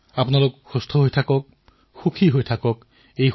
আপোনালোক সুৰক্ষিত হৈ থাকক সুস্থ হৈ থাকক সুখী হৈ থাকক